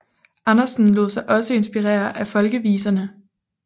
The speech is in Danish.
Andersen lod sig også inspirere af folkeviserne